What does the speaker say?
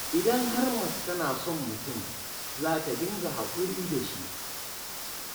Idan har mace tana son mutum, za ta dinga haƙuri da shi